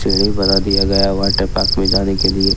सीढ़ी बना दिया गया वॉटर पार्क में जाने के लिए।